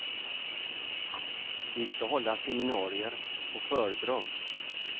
Vi skall hålla seminarier och föredrag.